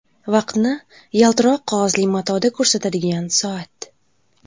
Vaqtni yaltiroq qog‘ozli matoda ko‘rsatadigan soat.